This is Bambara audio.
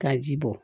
K'a ji bɔ